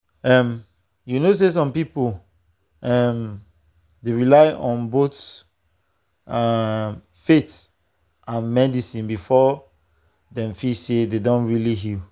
um you know say some people um dey rely on both um faith and medicine before dem feel say dem don really heal.